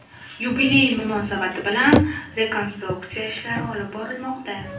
Yubiley munosabati bilan rekonstruksiya ishlari olib borilmoqda.